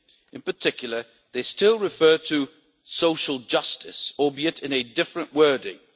In particular, they still refer to social justice, albeit in a different wording.